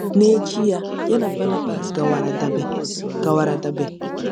“N'echi ya, ya na Banabas gawara Dabe gawara Dabe.